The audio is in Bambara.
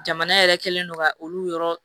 Jamana yɛrɛ kɛlen don ka olu yɔrɔ